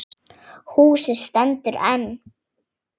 Húsið stendur enn.